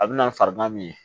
A bɛ na farigan min ye